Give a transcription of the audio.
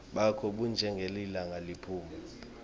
bakho bunjengelilanga liphuma